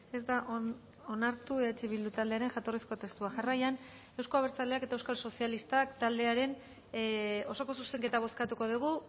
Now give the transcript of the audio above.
ez da onartu eh bildu taldearen jatorrizko testua jarraian euzko abertzaleak eta euskal sozialistak taldearen osoko zuzenketa bozkatuko dugu